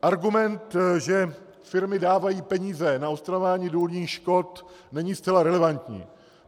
Argument, že firmy dávají peníze na odstraňování důlních škod, není zcela relevantní.